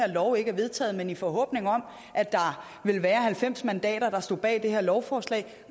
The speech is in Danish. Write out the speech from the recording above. her lov ikke er vedtaget men i forhåbning om at der vil være halvfems mandater der står bag det her lovforslag